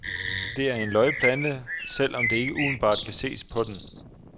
Det er en løgplante, selv om det ikke umiddelbart kan ses på den.